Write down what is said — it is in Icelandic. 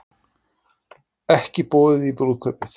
Ekki boðið í brúðkaupið